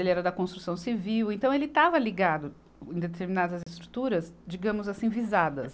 Ele era da construção civil, então ele estava ligado em determinadas estruturas, digamos assim, visadas.